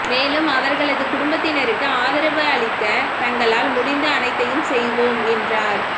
மேலும் அவர்களது குடும்பத்தினருக்கு ஆதரவளிக்க தங்களால் முடிந்த அனைத்தையும் செய்வோம் என்றார்